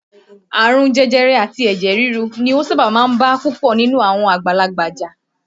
Àrùn jẹjẹrẹ àti ẹ̀jẹ̀ rirú ni ó sábà máa ń bá púpọ̀ nínú àwọn àgbàlagbà jà.